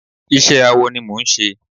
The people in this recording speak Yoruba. iṣẹ awọ ni mò ń ṣe